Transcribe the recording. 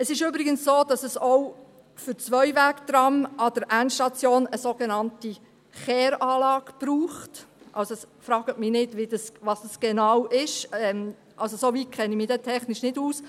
Es ist übrigens so, dass auch Zweiwegtrams an der Endstation eine so genannte Kehranlage brauchen – fragen Sie mich nicht, was eine Kehranlage genau ist, soweit kenne ich mich technisch nicht aus.